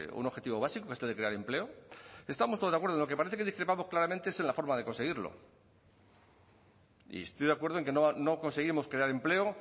un objetivo básico que es el de crear empleo estamos todos de acuerdo en lo que parece que discrepamos claramente es en la forma de conseguirlo y estoy de acuerdo en que no conseguimos crear empleo